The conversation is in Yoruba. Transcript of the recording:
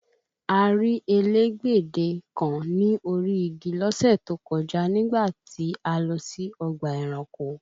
A rí elégbedè kan ní orí igi lọ́sẹ̀ tó kọjá nígbà tí a lọ sí ọgbà ẹranko